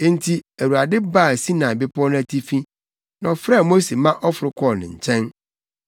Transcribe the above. Enti Awurade baa Sinai Bepɔw no atifi, na ɔfrɛɛ Mose ma ɔforo kɔɔ ne nkyɛn